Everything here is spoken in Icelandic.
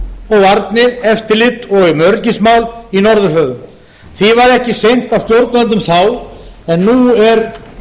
um varnir eftirlit og öryggismál í norðurhöfum því var ekki sinnt af stjórnvöldum þá en nú er